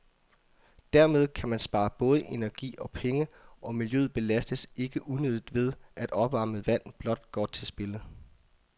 Dermed kan man spare både energi og penge, og miljøet belastes ikke unødigt ved, at opvarmet vand blot går til spilde.